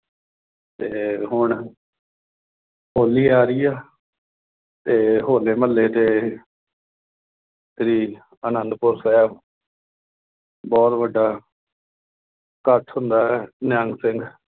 ਤੇ ਹੁਣ ਗਰਮੀ ਆ ਰਹੀ ਆ। ਤੇ ਹੋਲੇ-ਮਹੱਲੇ ਤੇ ਸ੍ਰੀ ਅਨੰਦਪੁਰ ਸਾਹਿਬ ਬਹੁਤ ਵੱਡਾ ਇਕੱਠ ਹੁੰਦਾ ਹੈ। ਨਿਹੰਗ ਸਿੰਘ